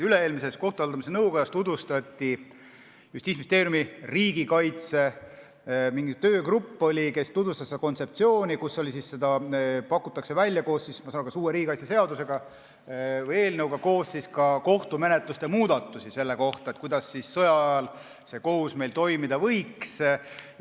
Üle-eelmises kohtute haldamise nõukojas tutvustati Justiitsministeeriumi riigikaitse töögrupi kontseptsiooni, kus pakutakse välja, ma sain aru, koos uue riigikaitseseaduse eelnõuga kohtumenetluse muudatusi selle kohta, kuidas kohus sõja ajal toimida võiks.